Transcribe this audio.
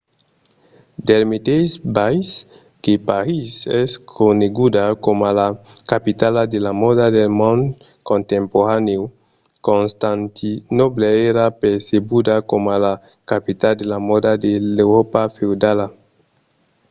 del meteis biais que parís es coneguda coma la capitala de la mòda del mond contemporanèu constantinòble èra percebuda coma la capitala de la mòda de l’euròpa feudala